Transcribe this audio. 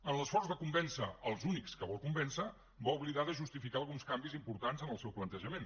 en l’esforç de convèncer els únics que vol convèncer va oblidar de justificar alguns canvis importants en el seu plantejament